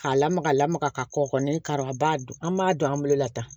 K'a lamaga lamaga ka kɔkɔ kɔni kari a b'a dun an b'a don an bolo la tan